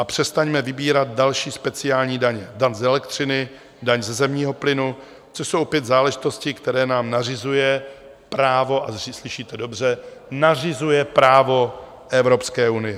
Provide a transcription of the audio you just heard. A přestaňme vybírat další speciální daně - daň z elektřiny, daň ze zemního plynu, což jsou opět záležitosti, které nám nařizuje právo - a slyšíte dobře - nařizuje právo Evropské unie.